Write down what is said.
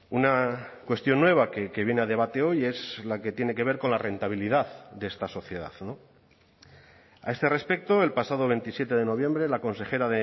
una cuestión nueva que viene a debate hoy es la que tiene que ver con la rentabilidad de esta sociedad a este respecto el pasado veintisiete de noviembre la consejera